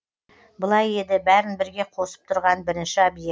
былай еді бәрін бірге қосып тұрған бірінші объект